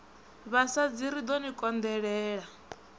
vhasadzi ri ḓo ni konḓelela